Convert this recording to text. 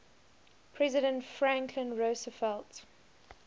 president franklin roosevelt